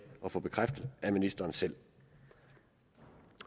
at få bekræftet af ministeren selv